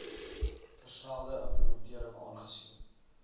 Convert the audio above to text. versnelde implementering aangesien